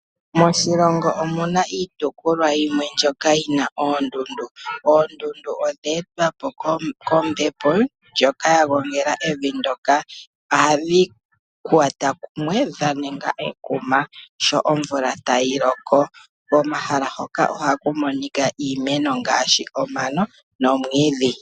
Moshilongo omuna iitopolwa yimwe mbyoka yina oondundu, oondundu odheetwa po kombepo ndjoka yagongela evi ndoka adhiikwata kumwe dhaninga ekuma sho omvula tayi loko, komahala hoka ohaku monika iimeno ngaashi omano nomwiidhi.